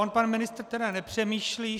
On pan ministr tedy nepřemýšlí.